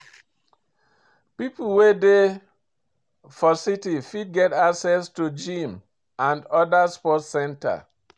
Pipo wey dey for city fit get access to gym and oda sport center